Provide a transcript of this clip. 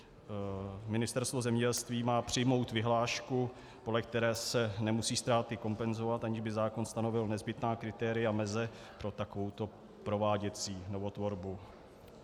Ministerstvo zemědělství má přijmout vyhlášku, podle které se nemusí ztráty kompenzovat, aniž by zákon stanovil nezbytná kritéria meze pro takovouto prováděcí novotvorbu.